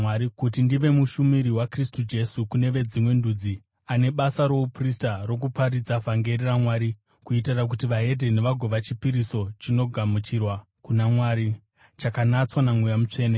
kuti ndive mushumiri waKristu Jesu kune veDzimwe Ndudzi, ane basa rouprista rokuparidza vhangeri raMwari, kuitira kuti veDzimwe Ndudzi vagova chipiriso chinogamuchirwa kuna Mwari, chakanatswa naMweya Mutsvene.